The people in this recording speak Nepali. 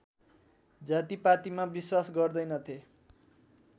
जातिपातिमा विश्वास गर्दैनथे